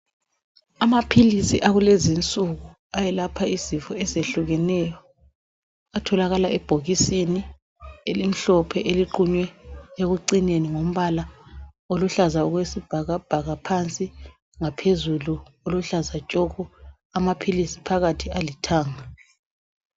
amaphilisi akulezi insuku ayelapha izifo ezehlukeneyo atholakala ebhokisisni elimhlophe eliqunywe ekucineni ngombala oluhlaza okwesibhakabhaka phansi ngaphezulu oluhlaza tshoko amaphilisi phakathi alithanga